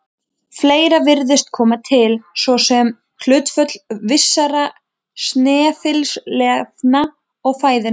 Fleira virðist koma til, svo sem hlutföll vissra snefilefna í fæðunni.